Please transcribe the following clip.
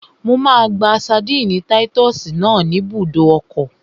Mo máa gba ṣadínnì táyítọ́sì náà ní ibùdó ọkọ̀